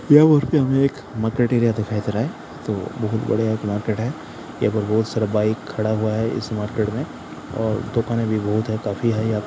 यह मार्केट हमे एक मार्केट एरिया दिखाई दे रहा है तो बहुत बड़े मार्केट है यहां पर बहुत सारा बाइक खड़ा हुआ है इस मार्केट में और दुकानें भी बहुत है काफी है यहां --